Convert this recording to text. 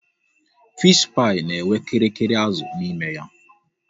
Fishi pai na enwe kirikiri azụ n'ime ya